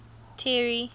terry